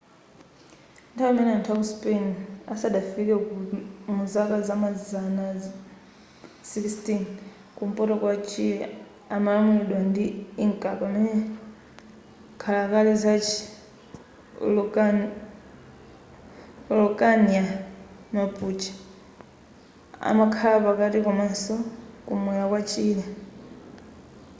nthawi imene anthu aku spain asadafike muzaka zamazana 16 kumpoto kwa chile amalamuliridwa ndi inca pamene nkhalakale zachi araucania mapuche amakhala pakati komanso kumwera kwa chile